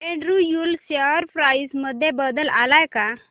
Andrew Yule share price मध्ये बदल आलाय का